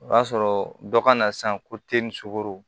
O b'a sɔrɔ dɔ kana san ko sogo